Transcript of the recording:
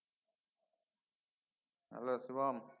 Hello Shubham?